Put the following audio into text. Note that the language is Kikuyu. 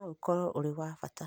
no ũkorwo ũri wa bata